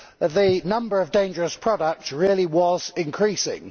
the number of dangerous products really was increasing.